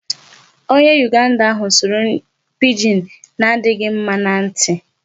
Onye Uganda ahụ sụrụ Pidgin na-adịghị mma na ntị.